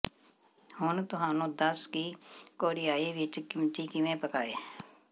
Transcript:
ਹੁਣ ਤੁਹਾਨੂੰ ਦੱਸ ਕਿ ਕੋਰੀਆਈ ਵਿੱਚ ਕਿਮਚੀ ਕਿਵੇਂ ਪਕਾਏ